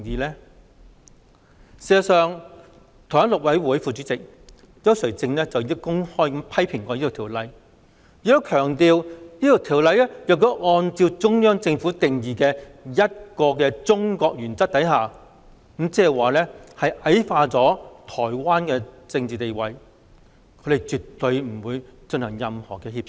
事實上，台灣大陸委員會副主任委員邱垂正已公開批評《條例草案》，亦強調如果《條例草案》按照中央政府定義的"一個中國"原則，將矮化了台灣的政治地位，他們絕對不會進行任何協商。